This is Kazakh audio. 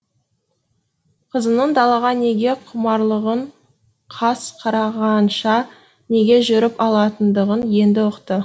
қызының далаға неге құмарлығын қас қарағанша неге жүріп алатындығын енді ұқты